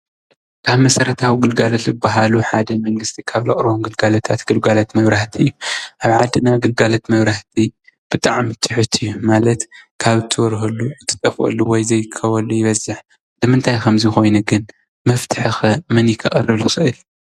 ካብ መሰረታዊ ግልጋሎት ዝበሃሉ ሓደ መንግስቲ ካብ ዘቕርቦም ግልጋሎታት ግልጋሎት መብራህቲ እዩ፡፡ ኣብ ዓድና ግልጋሎት መብራህቲ ብጣዕሚ ትሑት እዩ፡፡ ማለት ካብ እትበርሀሉ እትጠፍኣሉ ወይ ዘይትርከበሉ ይበዝሕ ንምንታይ ኸ ከምዚይ ኮይኑ ግን ?መፍትሒ ከ መን እዩ ከቕርብ ዝኽእል?